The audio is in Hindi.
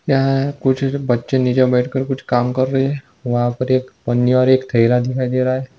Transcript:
यहाँ कुछ बच्चे नीचे बैठे कर कुछ काम कर रहे हैं वहाँ पर एक पन्नी और एक थैला दिखाई दे रहा है।